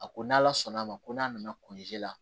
A ko n'ala sɔnn'a ma ko n'a nana kɔnzi la